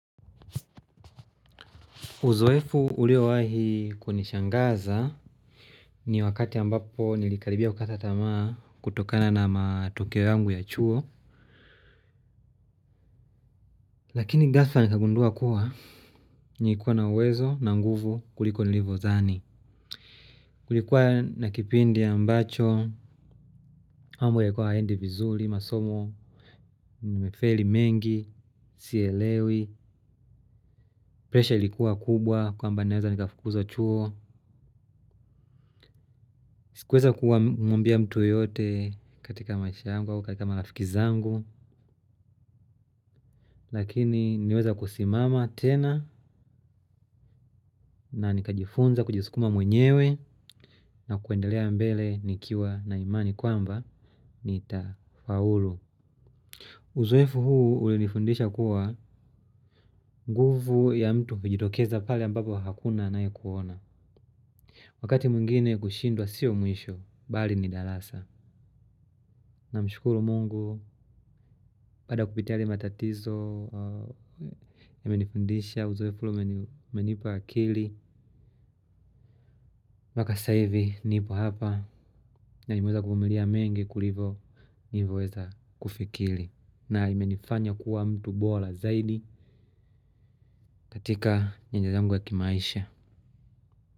Uzoefu uliowahi kunishangaza ni wakati ambapo nilikaribia kukata tamaa kutokana na matukio yangu ya chuo. Lakini ghafla nikagundua kuwa nilikuwa na uwezo na nguvu kuliko nilivyodhani. Kulikuwa na kipindi ambacho, mambo yalikuwa hayaendi vizuri, masomo, nimefeli mengi, sielewi, presha likuwa kubwa kwamba naeza nikafukuzwa chuo. Sikuweza kumwambia mtu yeyote katika maish yangu au katika marafiki zangu. Lakini niliweza kusimama tena na nikajifunza kujisukuma mwenyewe. Na kuendelea mbele nikiwa na imani kwamba nitafaulu uzoefu huu ulinifundisha kuwa nguvu ya mtu hujitokeza pale ambapo hakuna anayekuona. Wakati mwingine kushindwa sio mwisho bali ni darasa. Namshukuru mungu baada kupitia yale matatizo yamenifundisha uzofu ule umenipa akili. Mpaka sasa hivi nipo hapa nimeweza kuvumilia mengi kuliko nimeweza kufikiri. Na imeweza kufikili na imenifanya kuwa mtu bora zaidi katika nyanja zangu za kimaisha.